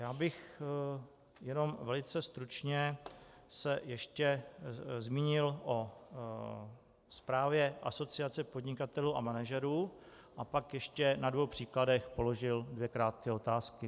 Já bych jenom velice stručně se ještě zmínil o zprávě Asociace podnikatelů a manažerů a pak ještě na dvou příkladech položil dvě krátké otázky.